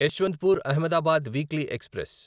Yesvantpur Ahmedabad weekly express